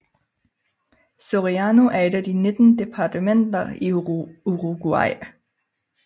Soriano er et af de 19 departementer i Uruguay